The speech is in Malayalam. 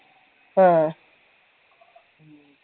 ആ